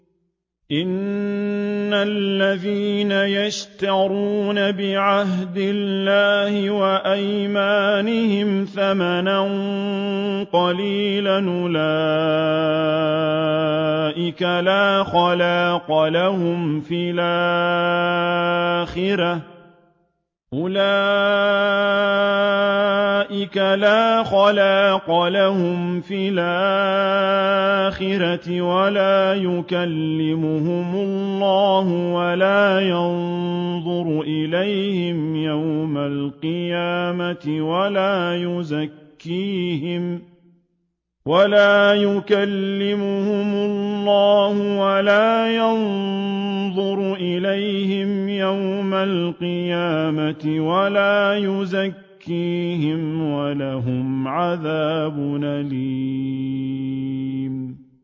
إِنَّ الَّذِينَ يَشْتَرُونَ بِعَهْدِ اللَّهِ وَأَيْمَانِهِمْ ثَمَنًا قَلِيلًا أُولَٰئِكَ لَا خَلَاقَ لَهُمْ فِي الْآخِرَةِ وَلَا يُكَلِّمُهُمُ اللَّهُ وَلَا يَنظُرُ إِلَيْهِمْ يَوْمَ الْقِيَامَةِ وَلَا يُزَكِّيهِمْ وَلَهُمْ عَذَابٌ أَلِيمٌ